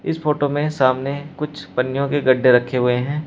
इस फोटो में सामने कुछ पन्नियों के गड्ढे रखे हुए हैं।